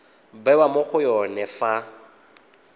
bewa mo go yone fa